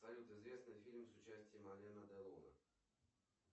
салют известные фильмы с участием алена делона